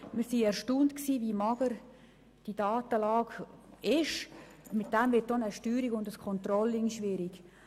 Wir waren erstaunt, wie mager die Datenlage ist, und damit ist auch die Steuerung und das Controlling schwierig.